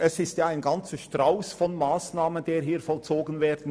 Damit soll ein ganzer Strauss von Massnahmen vollzogen werden.